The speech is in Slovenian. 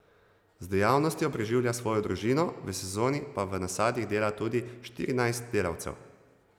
Z dejavnostjo preživlja svojo družino, v sezoni pa v nasadih dela tudi do štirinajst delavcev.